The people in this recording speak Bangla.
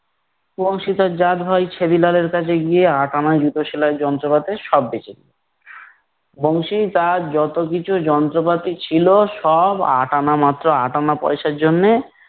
বংশী তার জাত ভাই ছ্য়াদি লাল এর কাছে গিয়ে আট আনায় জুতো সেলাইয়ের যন্ত্রপাতি সব বেচে দিলো। বংশী তার যতকিছু যন্ত্রপাতি ছিল সব আট আনা মাত্র আট আনা পয়সার জন্যে